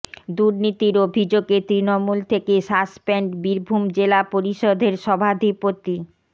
দুর্নীতির অভিযোগে তৃণমূল থেকে সাসপেন্ড বীরভূম জেলা পরিষদের সভাধিপতি